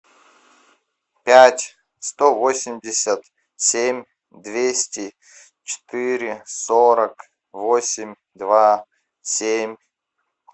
пять сто восемьдесят семь двести четыре сорок восемь два семь